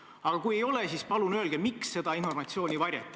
Aga kui ei ole, siis palun öelge, miks seda informatsiooni varjati.